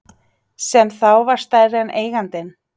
Sem þá var stærri en eigandinn.